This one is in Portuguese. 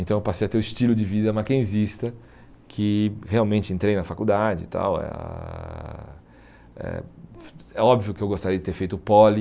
Então eu passei a ter o estilo de vida Mackenzista, que realmente entrei na faculdade e tal, eh ah é é óbvio que eu gostaria de ter feito o poli,